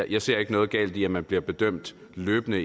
jeg ser ikke noget galt i at man bliver bedømt løbende